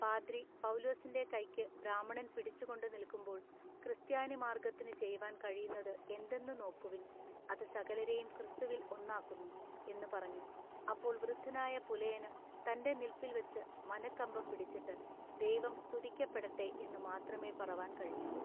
പാദ്രി, പൗലുസിന്റെ കയ്ക്കു ബ്രാഹ്മണൻ പിടിച്ചുകൊണ്ടു നില്ക്കുമ്പോൾ ക്രിസ്ത്യാനിമാർഗ്ഗത്തിനു ചെയ്‌വാൻ കഴിയുന്നതു എന്തെന്നു നോക്കുവിൻ അതു സകലരേയും ക്രിസ്തുവിൽ ഒന്നാക്കുന്നു എന്നു പറഞ്ഞു അപ്പോൾ വൃദ്ധനായ പുലയനു തന്റെ നില്പിൽ വച്ചു മന:കമ്പം പിടിച്ചിട്ടു "ദൈവം സ്തുതിക്കപ്പെടട്ടെ എന്നു മാത്രമേ പറവാൻ കഴിഞ്ഞുള്ളു.